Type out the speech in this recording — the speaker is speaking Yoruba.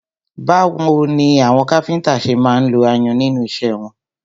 Báwo ni àwọn káfíńńtà ṣe máa ń lo ayùn nínú iṣẹ́ wọn?